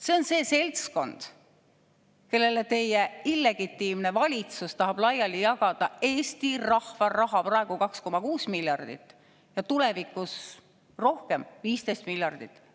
See on see seltskond, kellele teie illegitiimne valitsus tahab laiali jagada Eesti rahva raha – praegu 2,6 miljardit ja tulevikus rohkem, 15 miljardit.